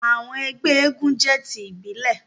àwọn ẹgbẹ éégún jẹ ti ibile.